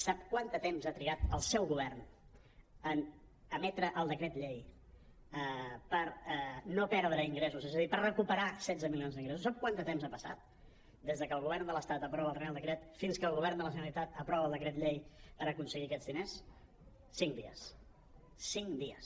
sap quant de temps ha trigat el seu govern en emetre el decret llei per no perdre ingressos és a dir per recuperar setze milions d’ingressos sap quant de temps ha pas·sat des que el govern de l’estat aprova el reial decret fins que el govern de la gene·ralitat aprova el decret llei per aconseguir aquests diners cinc dies cinc dies